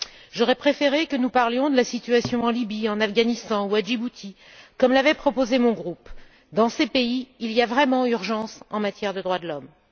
J'aurais préféré que nous parlions de la situation en Libye, en Afghanistan ou à Djibouti, comme l'avait proposé mon groupe. Dans ces pays, il y a vraiment urgence en matière de droits de l'homme.